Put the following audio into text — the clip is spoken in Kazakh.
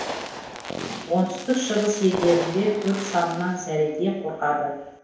оңтүстік шығыс елдерінде төрт санынан зәредей қорқады